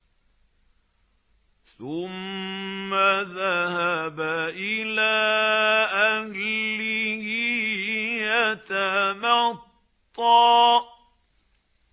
ثُمَّ ذَهَبَ إِلَىٰ أَهْلِهِ يَتَمَطَّىٰ